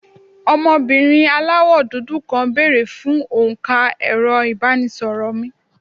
ọmọbìnrin àláwọ dudu kàn bere fún onka ẹrọ ibanisoro mí